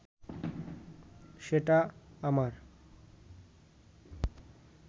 সেটা আমার